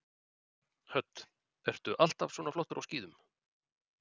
Hödd: Ertu alltaf svona flottur á skíðum?